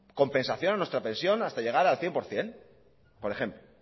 compensación en nuestra pensión hasta llegar al cien por ciento por ejemplo